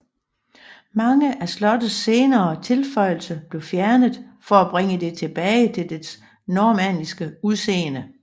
Mange af slottets senere tilføjelser blev fjernet for at bringe det til tilbage til dets normanniske udseende